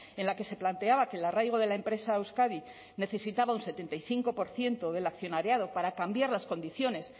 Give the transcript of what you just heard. en la que se planteaba que el arraigo de la empresa a euskadi necesitaba un setenta y cinco por ciento del accionariado para cambiar las condiciones